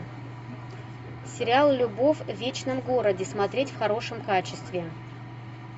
сериал любовь в вечном городе смотреть в хорошем качестве